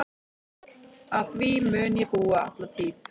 Að því mun ég búa alla tíð.